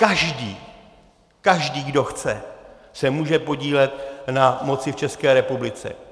Každý, každý, kdo chce, se může podílet na moci v České republiky.